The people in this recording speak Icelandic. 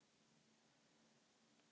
Óróar, kransar, glerkúlur og bjöllur.